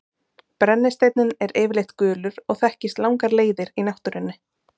Brennisteinninn er yfirleitt gulur og þekkist langar leiðir í náttúrunni.